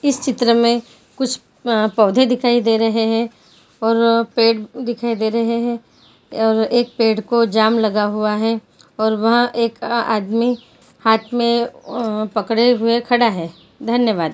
इस चित्र में कुछ अ पौधे दिखाई दे रहे हैं और पेड़ दिखाई दे रहे हैं और एक पेड़ को जाम लगा हुआ है और वह एक आदमी हाथ में अ पकड़े हुए खड़ा है धन्यवाद।